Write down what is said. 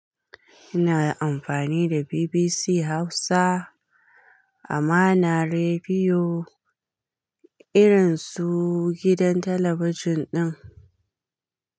Ina amfani da BBC Hausa a mana rediyo irin su gidan talabijin ɗin.